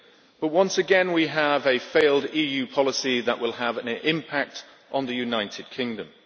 But once again we have a failed EU policy that will have an impact on the United Kingdom.